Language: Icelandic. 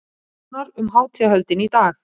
Nánar um hátíðarhöldin í dag